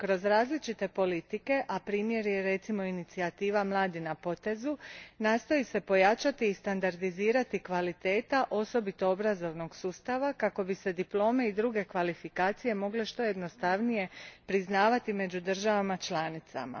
Kroz različite politike, a primjer je inicijativa Mladi na potezu, nastoji se pojačati i standardizirati kvaliteta osobito obrazovnog sustava kako bi se diplome i druge kvalifikacije mogle što jednostavnije priznavati među državama članicama.